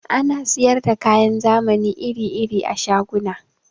Ana siyar da kayan zamani iri-iri a shaguna.